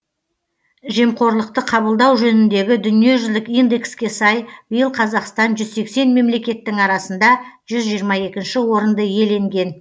жемқорлықты қабылдау жөніндегі дүниежүзілік индекске сай биыл қазақстан жүз сексен мемлекеттің арасында жүз жиырма екінші орынды иеленген